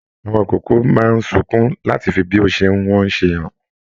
Àwọn ikòkò máa n sunkún làti fí bí o ṣe n wọn ṣe hàn.